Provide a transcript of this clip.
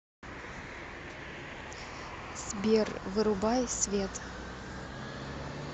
сбер вырубай свет